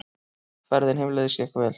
Ferðin heimleiðis gekk vel.